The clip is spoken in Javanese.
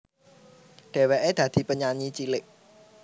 Dhèwèké dadi penyanyi cilik